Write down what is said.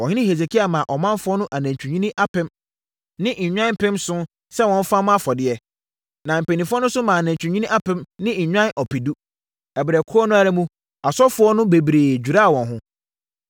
Ɔhene Hesekia maa ɔmanfoɔ no anantwinini apem ne nnwan mpem nson sɛ wɔmfa mmɔ afɔdeɛ, na mpanimfoɔ no nso maa anantwinini apem ne nnwan ɔpedu. Ɛberɛ korɔ no ara mu, asɔfoɔ no bebree dwiraa wɔn ho.